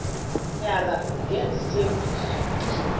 nyaka ngenza isethembiso